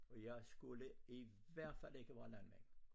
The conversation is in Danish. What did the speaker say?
I jeg skulle i hvert fald ikke være landmand